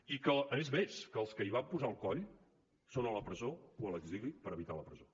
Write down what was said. i que és més que els que hi van posar el coll són a la presó o a l’exili per evitar la presó